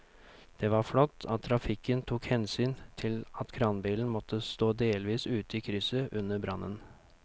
Det var flott at trafikken tok hensyn til at kranbilen måtte stå delvis ute i krysset under brannen.